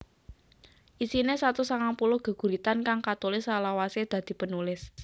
Isine satus sangang puluh geguritan kang katulis salawase dadi penulis